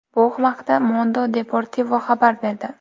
Bu haqda Mundo Deportivo xabar berdi .